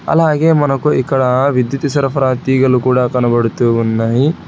అలాగే మనకు ఇక్కడ విద్యుత్ సరఫరా తీగలు కూడా కనబడుతూ ఉన్నాయి.